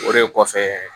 O de kɔfɛ